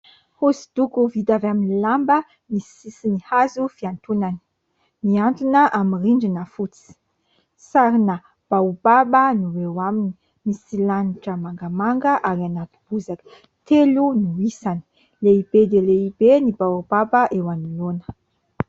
Hosodoko ho vita avy amin'ny lamba misy sisiny hazo fihantonany . Mihantona amin'ny rindrina fotsy. Sarina Baobab no eo aminy. Misy lanitra mangamanga ary anaty bozaka . Telo no isany. Lehibe dia lehibe ny Baobab eo anoloana.